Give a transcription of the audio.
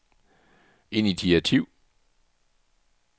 initiativ